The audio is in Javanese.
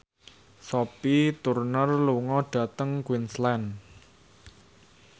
Sophie Turner lunga dhateng Queensland